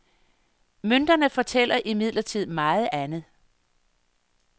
Mønterne fortæller imidlertid meget andet.